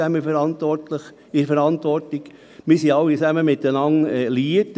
Denn wir stehen alle in der Verantwortung und sind diesbezüglich alle miteinander liiert.